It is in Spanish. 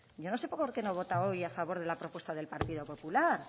yo no sé por qué no vota hoy a favor de la propuesta del partido popular